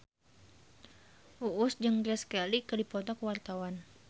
Uus jeung Grace Kelly keur dipoto ku wartawan